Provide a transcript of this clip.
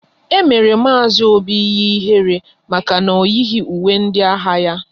E mere Mazi Obi ihe ihere maka na o yighi uwe ndị agha ya